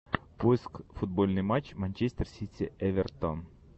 поиск футбольный матч манчестер сити эвертон